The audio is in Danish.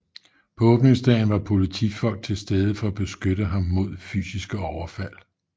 På åbningsdagen var politifolk til stede for at beskytte ham mod fysiske overfald